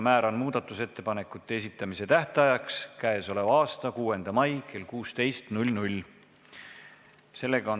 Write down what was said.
Määran muudatusettepanekute esitamise tähtajaks k.a 6. mai kell 16.